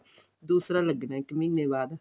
ਦੂਸਰਾ ਲੱਗਣਾ ਇੱਕ ਮਹੀਨੇ ਬਾਅਦ